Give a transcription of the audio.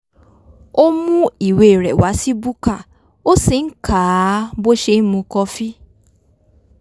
ó mú ìwé rẹ̀ wá sí búkà ó sì ń kà á bó ṣe ń mu kọfí